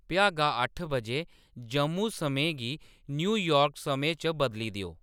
भ्यागा अट्ठ बजे जम्मू समें गी न्यूयार्क समें च बदली देओ